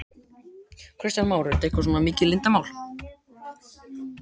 Kristján Már: Er þetta svona mikið leyndarmál?